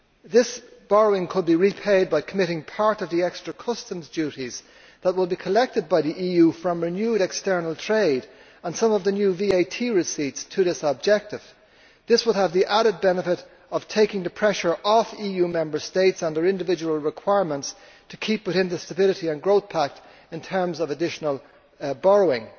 This borrowing could be repaid by committing part of the extra customs duties that would be collected by the EU from renewed external trade and some of the new VAT receipts to this objective. This would have the added benefit of taking the pressure off EU Member States and their individual requirements to keep within the Stability and Growth Pact in terms of additional borrowing.